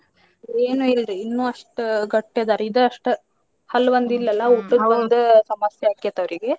ಏನು ಇಲ್ರಿ ಇನ್ನು ಅಷ್ಟ ಗಟ್ಟಿ ಅದಾರ್ ಇದ ಅಷ್ಟ. ಹಲ್ಲು ಒಂದ್ ಇಲ್ಲ ಅಲ್ಲ ಸಮಸ್ಯೆ ಆಕ್ಕೆತ್ ಅವರಿಗೆ.